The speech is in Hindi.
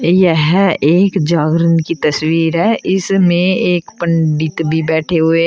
यह एक जागरण की तस्वीर है इसमें एक पंडित भी बैठे हुए हैं।